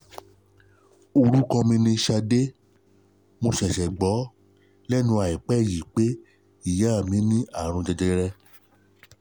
Orúkọ mi ni Sade, mo ṣẹ̀ṣẹ̀ gbọ́ lẹ́nu àìpẹ́ yìí pé ìyá mi ní àrùn jẹjẹrẹ